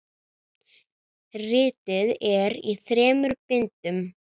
Ritið er í þremur bindum.